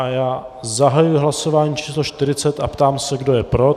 A já zahajuji hlasování číslo 40 a ptám se, kdo je pro.